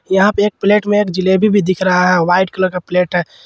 यहां पर एक प्लेट में एक जलेबी भी दिख रहा है वाइट कलर का प्लेट है।